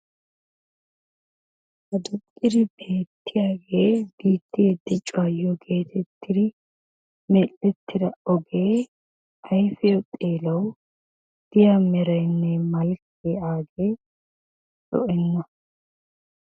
aduuqqidi beettiyaage biittee dichchaayoo geetetidi mel"ettida ogee aayfiyaw xeelaw diyaa meraynne malkkee agee lo"enna.